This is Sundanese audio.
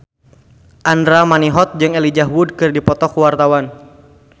Andra Manihot jeung Elijah Wood keur dipoto ku wartawan